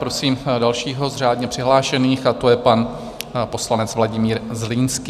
Prosím dalšího z řádně přihlášených, a to je pan poslanec Vladimír Zlínský.